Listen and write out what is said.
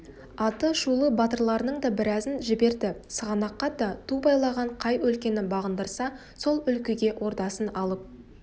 атышулы батырларының да біразын жіберді сығанаққа да ту байлаған қай өлкені бағындырса сол өлкеге ордасын алып